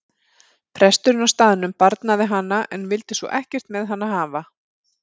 Presturinn á staðnum barnaði hana en vildi svo ekkert með hana hafa.